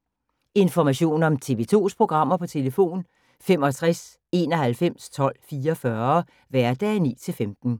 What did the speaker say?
Information om TV 2's programmer: 65 91 12 44, hverdage 9-15.